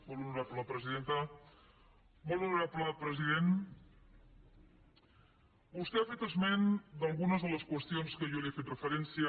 molt honorable presidenta molt honorable president vostè ha fet esment d’algunes de les qüestions a què jo li he fet referència